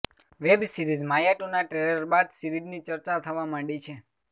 web series Maya ટુના trailer બાદ સિરીઝની ચર્ચા થવા માંડી છે